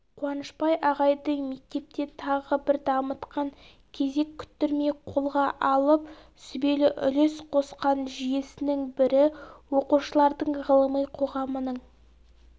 қуанышбай ағайдың мектепте тағы бір дамытқан кезек күттірмей қолға алып сүбелі үлес қосқан жүйесінің бірі оқушылардың ғылыми қоғамының